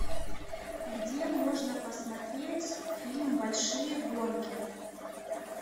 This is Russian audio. где можно посмотреть фильм большие гонки